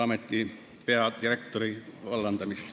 Aitäh!